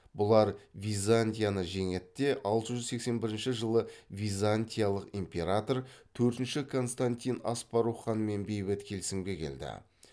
бұлар византияны жеңеді де алты жүз сексен бірінші жылы византиялық император төртінші константин аспарух ханмен бейбіт келісімге келді